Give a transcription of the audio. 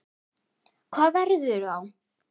Hvað verður þá?